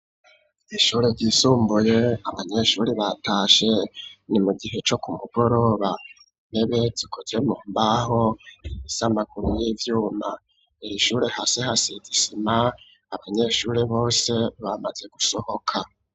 Ishure ryisumbuye, abanyeshure batashe; ni mu gihe, co ku mugoroba, intebe zikoze mu mbaho, z'amaguru y'ivyuma; iri shure, hasi hasize isima, abanyeshure bose, bamaze gusohoka.